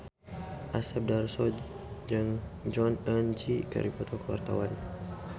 Asep Darso jeung Jong Eun Ji keur dipoto ku wartawan